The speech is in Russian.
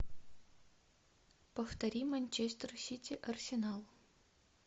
повтори манчестер сити арсенал